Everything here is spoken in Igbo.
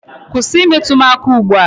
Kwụsị I metụ m aka ugbu a!